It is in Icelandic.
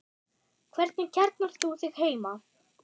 Hvernig kjarnar þú þig heima?